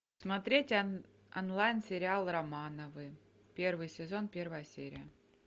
смотреть онлайн сериал романовы первый сезон первая серия